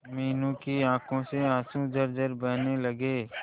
मीनू की आंखों से आंसू झरझर बहने लगे